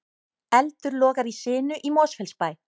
Eldur logar í sinu í Mosfellsbæ